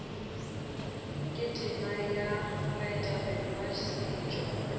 tema ya baetapele ba setšo